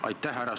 Aitäh!